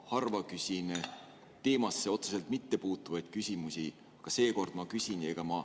Ma harva küsin teemasse otseselt mittepuutuvaid küsimusi, aga seekord ma küsin.